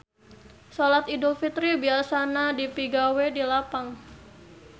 Solat Idul Fitri biasana dipigawe di lapang.